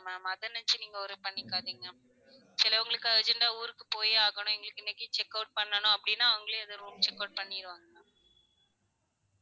Ma'am அத நெனச்சி நீங்க worry பண்ணிக்காதீங்க. சிலவுங்களுக்கு urgent ஆ ஊருக்கு போயே ஆகணும் எங்களுக்கு இன்னைக்கு check out பண்ணணும் அப்படினா அவங்களே அந்த room check out பண்ணிடுவாங்க